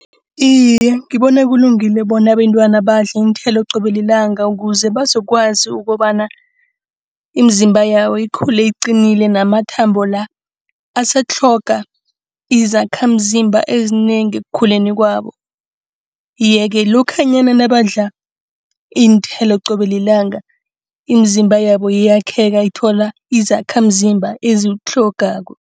Iye, ngibona kulungile bona abantwana badle iinthelo qobe lilanga. Ukuze bazokwazi ukobana imizimba yabo ikhule iqinile namathambo la asatlhoga izakhamzimba ezinengi ekukhuleni kwabo. Yeke lokhanyana nabadla iinthelo qobe lilanga imizimba yabo iyakheka ithola izakhamzimba eziwutlhogako.